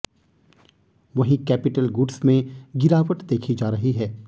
वहीं capital goods में गिरावट देखी जा रही है